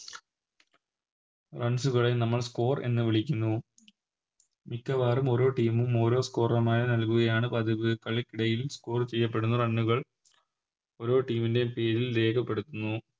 Runs കള നമ്മൾ Score എന്ന് വിളിക്കുന്നു മിക്കവാറും ഓരോ Team ഉം ഓരോ Score നൽകുകയാണ് പതിവ് കളിക്കിടയിൽ Score ചെയ്യപ്പെടുന്ന Run കൾ ഓരോ Team ൻറെയും പേരിൽ രേഖപ്പെടുത്തുന്നു